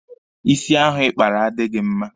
Ịsị ahụ ị kpara adịghị gị mma.